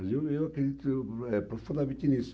Quer dizer, eu eu acredito eu, eh, profundamente nisso.